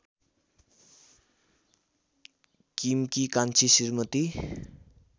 किमकी कान्छी श्रीमती